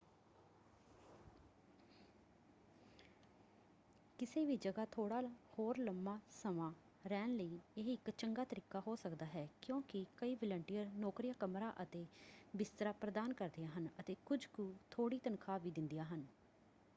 ਕਿਸੇ ਵੀ ਜਗ੍ਹਾ ਥੋੜ੍ਹਾ ਹੋਰ ਲੰਮਾ ਸਮਾਂ ਰਹਿਣ ਲਈ ਇਹ ਇਕ ਚੰਗਾ ਤਰੀਕਾ ਹੋ ਸਕਦਾ ਹੈ ਕਿਉਂਕਿ ਕਈ ਵਾਲੰਟੀਅਰ ਨੌਕਰੀਆਂ ਕਮਰਾ ਅਤੇ ਬਿਸਤਰਾ ਪ੍ਰਦਾਨ ਕਰਦੀਆਂ ਹਨ ਅਤੇ ਕੁਝ ਕੁ ਥੋੜ੍ਹੀ ਤਨਖਾਹ ਵੀ ਦਿੰਦੀਆਂ ਹਨ।